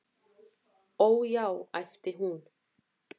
"""Ó, já, æpti hún."""